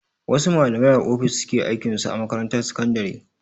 Wasu malamai a ofis suke aikin su a makarantar sakandare.